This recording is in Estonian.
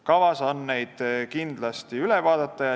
Kavas on need kindlasti üle vaadata.